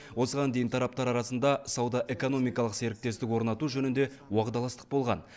осыған дейін тараптар арасында сауда экономикалық серіктестік орнату жөнінде уағдаластық болған